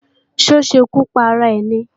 Ṣé ó ṣekú para rẹ̀ ni?